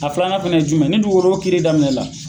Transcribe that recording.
A filanan fɛn ye jumɛn ye ni dugukolo ko kiiri daminɛ la